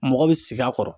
Mɔgɔ bɛ sigi a kɔrɔ